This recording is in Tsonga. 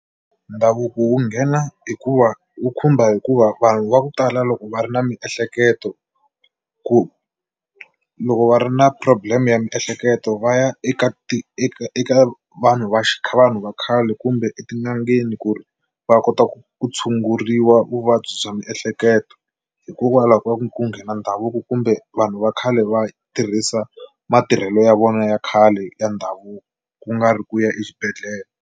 Ndhavuko wu nghena hikuva wu khumba hikuva vanhu va ku tala loko va ri na miehleketo ku loko va ri na problem ya miehleketo va ya eka eka eka vanhu va vanhu va xikhale va khale kumbe etin'angeni ku ri va kota ku tshunguriwa vuvabyi bya miehleketo hikokwalaho ka ku ku nghena ndhavuko kumbe vanhu va khale va tirhisa matirhelo ya vona ya khale ya ndhavuko ku nga ri ku ya exibedhlele.